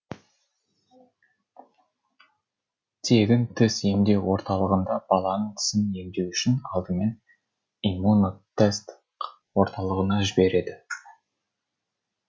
тегін тіс емдеу орталығында баланың тісін емдеу үшін алдымен иммунотест орталығына жібереді